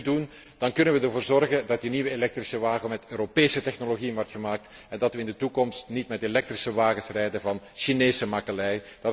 Als we dat nu doen, dan kunnen we ervoor zorgen dat die nieuwe elektrische wagen met Europese technologieën wordt gemaakt en dat we in de toekomst niet met elektrische wagens rijden van Chinese makelij.